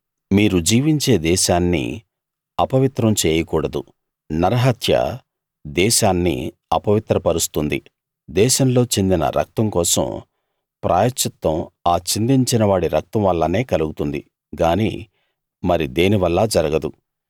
మీరు జీవించే దేశాన్ని అపవిత్రం చేయకూడదు నరహత్య దేశాన్ని అపవిత్రపరుస్తుంది దేశంలో చిందిన రక్తం కోసం ప్రాయశ్చిత్తం ఆ చిందించిన వాడి రక్తం వల్లనే కలుగుతుంది గాని మరి దేనివల్లా జరగదు